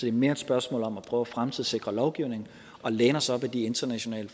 er mere et spørgsmål om at prøve at fremtidssikre lovgivningen og læne os op af de internationale